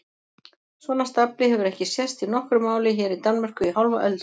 Svona stafli hefur ekki sést í nokkru máli hér í Danmörku í hálfa öld!